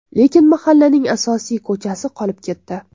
Lekin mahallaning asosiy ko‘chasi qolib ketdi.